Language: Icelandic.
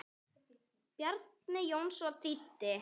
Bjarni Jónsson þýddi.